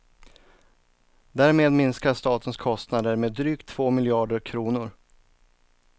Därmed minskar statens kostnader med drygt två miljarder kronor.